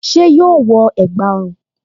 Ṣé yóò wọ ẹ̀gbá ọrùn?